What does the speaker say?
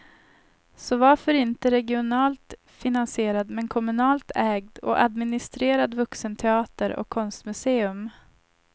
Så varför inte regionalt finansierad, men kommunalt ägd och administrerad vuxenteater och konstmuseum.